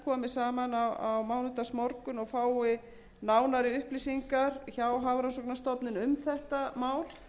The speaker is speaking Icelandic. saman á mánudagsmorgun og fái nánari upplýsingar hjá hafrannsóknastofnun um þetta mál